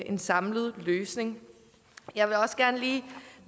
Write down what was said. en samlet løsning jeg vil også gerne lige